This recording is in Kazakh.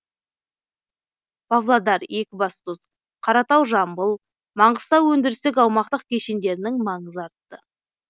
павлодар екібастұз қаратау жамбыл маңғыстау өндірістік аумақтық кешендерінің маңызы артты